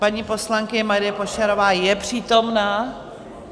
Paní poslankyně Marie Pošarová je přítomna.